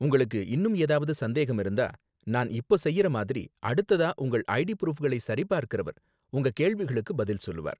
உங்களுக்கு இன்னும் ஏதாவது சந்தேகம் இருந்தா, நான் இப்போ செய்யற மாதிரி, அடுத்ததா உங்கள் ஐடி ப்ரூஃப்களை சரிபார்க்கறவர், உங்க கேள்விகளுக்குப் பதில் சொல்லுவார்.